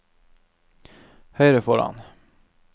høyre foran